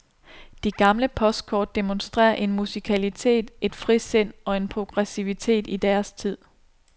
De gamle postkort demonstrerer en musikalitet, et frisind og en progressivitet i deres tid.